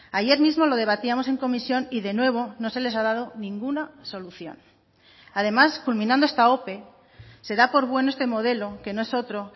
ayer mismo lo debatíamos en comisión y de nuevo no se les ha dado ninguna solución además culminando esta ope se da por bueno este modelo que no es otro